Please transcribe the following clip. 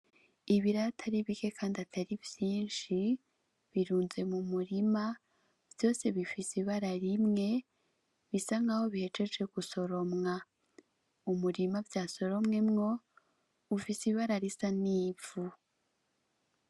Ibiraya atari bike kandi atari vyinshi birunze mumurima vyose bifise ibara rimwe bisa nk'aho bihejeje gusoromwa ,umurima vyasoromwemo ufise ibara risa nk'ivu.